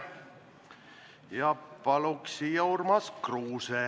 Esimesena paluks siia Urmas Kruuse.